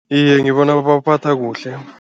Iye, ngibona babaphatha kuhle.